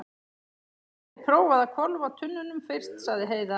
Þú gætir prófað að hvolfa tunnunum fyrst, sagði Heiða.